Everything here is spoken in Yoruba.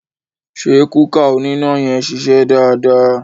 Ṣé kúkà oníná yẹn ṣiṣẹ́ dáadáa?